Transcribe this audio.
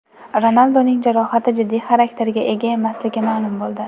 Ronalduning jarohati jiddiy xarakterga ega emasligi ma’lum bo‘ldi.